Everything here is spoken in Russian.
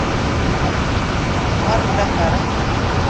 марк захаров